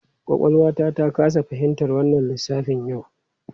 Kwakwalwata ta kasa fahimtar wannan lissafin yau.